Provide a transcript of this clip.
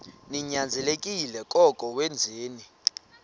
ninyanzelekile koko wenzeni